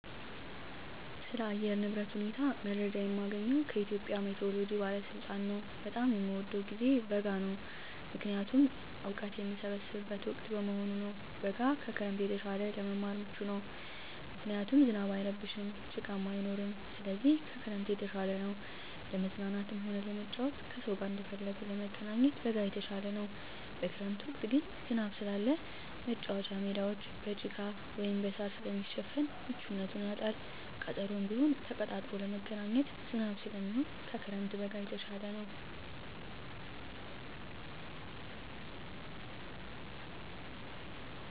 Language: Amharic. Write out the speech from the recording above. ስለ አየር ንብረት ሁኔታ መረጃ የማገኘዉ ከኢትዮጵያ ሜትሮሎጂ ባለስልጣን ነዉ። በጣም የምወደዉ ጊዜ በጋ ነዉ ምክንያቱም እወቀት የምሰበስብበት ወቅት በመሆኑ ነዉ። በጋ ከክረምት የተሻለ ለመማር ምቹ ነዉ ምክንያቱም ዝናብ አይረብሽም ጭቃም አይኖርም ስለዚህ ከክረምት የተሻለ ነዉ። ለመዝናናትም ሆነ ለመጫወት ከሰዉ ጋር እንደፈለጉ ለመገናኘት በጋ የተሻለ ነዉ። በክረምት ወቅት ግን ዝናብ ስላለ መቻወቻ ሜዳወች በጭቃ ወይም በእሳር ስለሚሸፈን ምቹነቱን ያጣል ቀጠሮም ቢሆን ተቀጣጥሮ ለመገናኘት ዝናብ ስለሚሆን ከክረምት በጋ የተሻለ ነዉ።